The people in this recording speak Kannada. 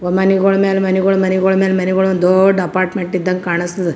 ಮನಿಗೊಳ ಮೇಲೆ ಮನಿಗೊಳ ಮನಿಗೊಳ ಮೇಲೆ ಮನಿಗೊಳ ದೊಡ್ಡ ಅಪಾರ್ಟ್ಮೆಂಟ್ ಇದಂಗ್ ಕಾಣಸ್ತದ್ .